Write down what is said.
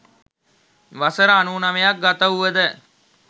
වසර 99 ක් ගතවුව ද